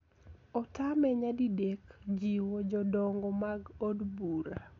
Otame nyadidek jiwo jodongo mag Od Bura